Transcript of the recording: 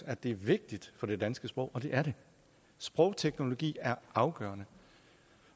at det er vigtigt for det danske sprog og det er det sprogteknologi er afgørende